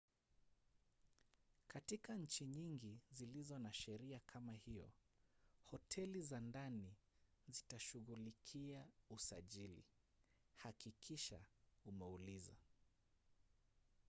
katika nchi nyingi zilizo na sheria kama hiyo hoteli za ndani zitashughulikia usajili hakikisha umeuliza